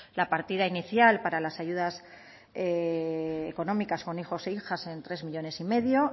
la partida inicial para las ayudas económicas con hijos e hijas en tres millónes y medio